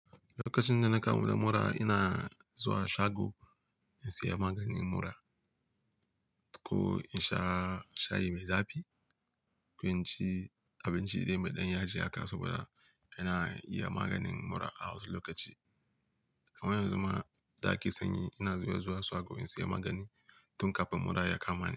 Lokacin da na kamu da mura, ina zuwa shago in sayi maganin mura ko in sha shayi mai zafi ko in ci abinci dai mai ɗan yaji haka saboda ina iya maganin mura a wasu lokaci. Kaman yanzu ma da ake sanyi ina zuwa zuwa shago in sayi magani tun kafin mura ya kama ni.